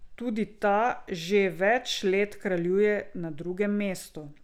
Tudi ta že več let kraljuje na drugem mestu.